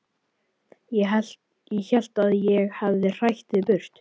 Ég hélt að ég hefði hrætt þig burt.